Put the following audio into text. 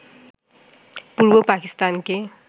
পূর্ব পাকিস্তানকে